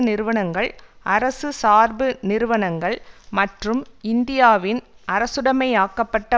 நிறுவனங்கள் அரசு சார்பு நிறுவனங்கள் மற்றும் இந்தியாவின் அரசுடைமையாக்கப்பட்ட